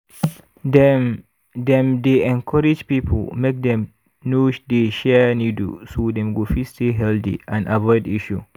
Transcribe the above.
dem dem dey encourage people make dem no dey share needle so dem go fit stay healthy and avoid issue